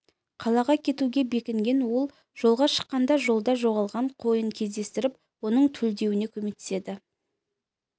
қалаға кетуге бекінген ол жолға шыққанда жолда жоғалған қойын кездестіріп оның төлдеуіне көмектеседі